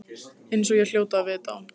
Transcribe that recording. Eins og ég hljóti að vita.